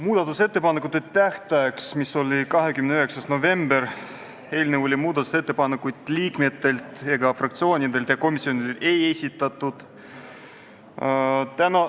Muudatusettepanekute tähtajaks, mis oli 29. november, eelnõu muutmiseks ettepanekuid Riigikogu liikmetelt, fraktsioonidelt ega komisjonidelt ei esitatud.